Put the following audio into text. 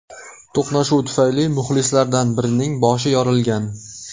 To‘qnashuv tufayli muxlislardan birining boshi yorilgan.